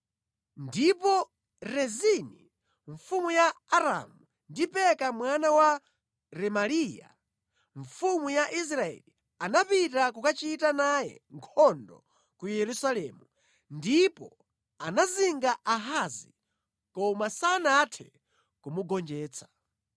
Ndipo Rezini mfumu ya Aramu ndi Peka mwana wa Remaliya mfumu ya Israeli anapita kukachita naye nkhondo ku Yerusalemu ndipo anazinga Ahazi, koma sanathe kumugonjetsa.